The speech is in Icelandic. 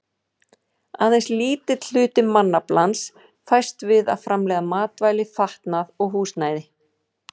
Aðeins lítill hluti mannaflans fæst við að framleiða matvæli, fatnað og húsnæði.